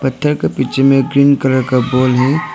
पत्थर का पीछे में एक ग्रीन कलर का बॉल है।